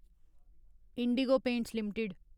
Indigo Paints limited